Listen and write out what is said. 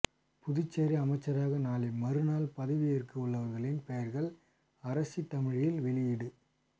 புதுச்சேரி அமைச்சர்களாக நாளை மறுநாள் பதவி ஏற்க உள்ளவர்களின் பெயர்கள் அரசிதழில் வெளியீடு